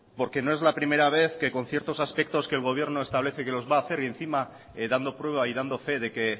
porque no es la primera vez que con ciertos aspectos que el gobierno establece que los va a hacer y encima dando prueba y dando fe de que